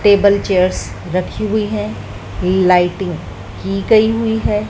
Table chairs रखी हुई हैं लाइटिंग की गई हुई है।